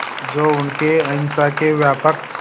जो उनके अहिंसा के व्यापक